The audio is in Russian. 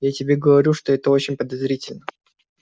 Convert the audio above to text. я тебе говорю что это очень подозрительно